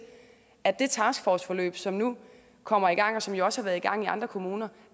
at det taskforceforløb som nu kommer i gang og som jo også har været i gang i andre kommuner